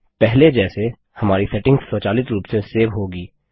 पहले जैसे हमारी सेटिंग्स स्वचालित रूप से सेव होगी